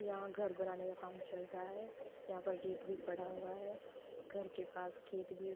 यहाँ घर बनाने का काम चल रहा है। यहाँ पर रेत भी पड़ा हुआ है घर के पास खेत भी --